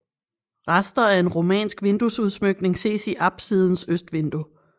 Rester af en romansk vinduesudsmykning ses i apsidens østvindue